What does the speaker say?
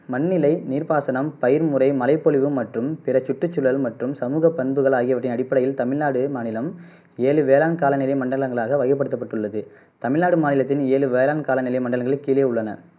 மண்ணிலை நீர் பாசனம் பயிர் முறை மழைப்பொலிவு மற்றும் பிற சுற்றுச்சூழல் மற்றும் சமூகப் பண்புகள் ஆகியவற்றின் அடிப்படையில் தமிழ்நாடு மாநிலம் ஏழு வேளாண் கால நிலை மண்டலங்களாக தமிழ்நாடு மாநிலத்தின் ஏழு வேளாண் காலநிலை மண்டலங்கள் கீழே உள்ளன